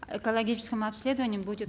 экологическому обследованию будет